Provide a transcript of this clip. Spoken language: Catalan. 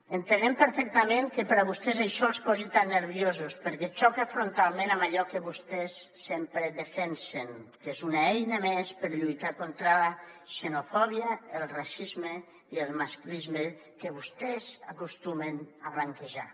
entenem perfectament que a vostès això els posi tan nerviosos perquè xoca frontalment amb allò que vostès sempre defensen perquè és una eina més per lluitar contra la xenofòbia el racisme i el masclisme que vostès acostumen a blanquejar